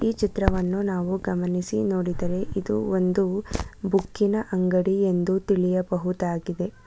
ಚಿತ್ರವನ್ನು ನಾವು ಗಮನಿಸಿ ನೋಡಿದರೆ ಇದು ಒಂದು ಬುಕ್ಕಿ ನ ಅಂಗಡಿಯನ್ನು ತಿಳಿಯಬಹುದಾಗಿದೆ.